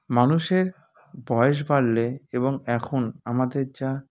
মানুষের বয়স বাড়লে এবং এখন আমাদের যা